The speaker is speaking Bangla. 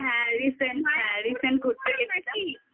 হ্যাঁ হ্যাঁ recent ঘুরতে গেছি